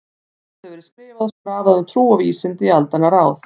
Margt hefur verið skrifað og skrafað um trú og vísindi í aldanna rás.